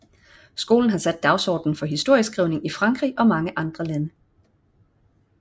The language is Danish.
Skolen har sat dagsordenen for historieskrivning i Frankrig og mange andre lande